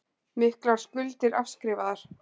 Miklar skuldir afskrifaðar